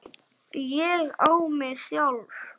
ÉG Á MIG SJÁLF!